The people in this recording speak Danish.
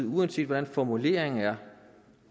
uanset hvordan formuleringen er